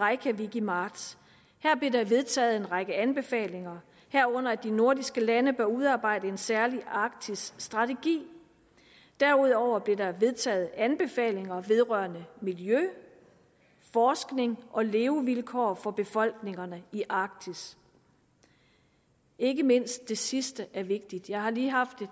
reykjavik i marts her blev der vedtaget en række anbefalinger herunder at de nordiske lande bør udarbejde en særlig arktisstrategi derudover blev der vedtaget anbefalinger vedrørende miljø forskning og levevilkår for befolkningerne i arktis ikke mindst det sidste er vigtigt jeg har lige haft